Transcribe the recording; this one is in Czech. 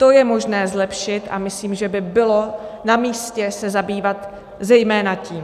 To je možné zlepšit a myslím si, že by bylo namístě se zabývat zejména tím.